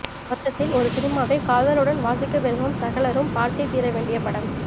மொத்தத்தில் ஒரு சினிமாவை காதலுடன் வாசிக்க விரும்பும் சகலரும் பார்த்தே தீர வேண்டிய படம்